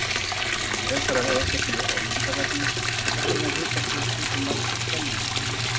Frekara lesefni á Vísindavefnum: Hvers vegna er hitastig stundum mælt í kelvínum?